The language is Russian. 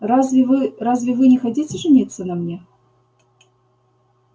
разве вы разве вы не хотите жениться на мне